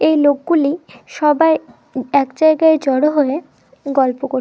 এই লোকগুলি সবাই এক জায়গায় জড়ো হয়ে গল্প ক--